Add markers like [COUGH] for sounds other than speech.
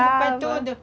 [UNINTELLIGIBLE] tudo.